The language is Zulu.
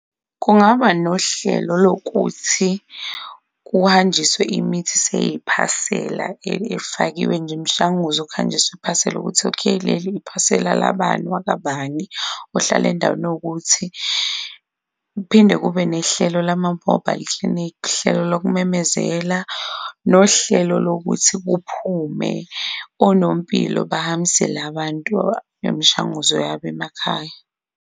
Kungaba nohlelo lokuthi kuhanjiswe imithi seyiy'phasela efakiwe nje, imishanguzo kuhanjiswe iphasela ukuthi okheyi leli iphasela labani wakwabani ohlala endaweni ewukuthi, kuphinde kube nehlelo lama-Mobile Clinic, uhlelo loku memezela, nohlelo lokuthi kuphume onompilo bahambisele abantu imishanguzo yabo emakhaya.